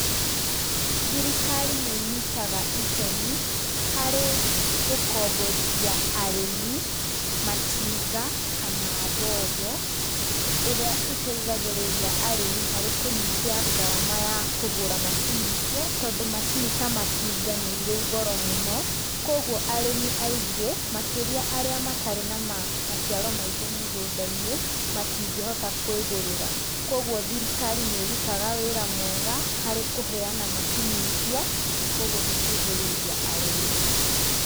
Thirikari nĩ ĩnyitaga itemi, harĩ gũkomborithia arĩmi matinga kana mbombo, iria iteithagĩrĩria arĩmi harĩ kũnyihia ngarama ya kũgũra macini icio, tondũ macini ta matinga nĩ irĩ goro mũno, kogwo arĩmi aingĩ makĩria arĩa matarĩ na maciaro maingĩ mĩgũnda-inĩ, matingĩhota kwĩgũrĩra, kogwo thirikari nĩ ĩrutaga wĩra mwega harĩ kũheana macini icio, na kogwo gũteithĩrĩria arĩmi.